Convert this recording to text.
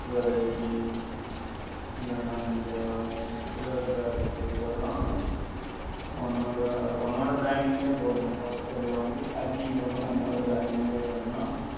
இல்லேன்னா இந்த உளர் style தான் உன்னோட உன்னோட brand இங் லே போடணும் all sell எ வாங்கி packing பண்ணி உன்னோட brand இங் லே பண்ணா